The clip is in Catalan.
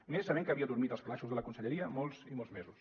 i més sabent que havia dormit als calaixos de la conselleria molts i molts mesos